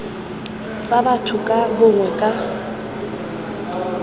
tsa batho ka bongwe ka